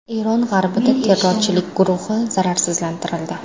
Eron g‘arbida terrorchilik guruhi zararsizlantirildi.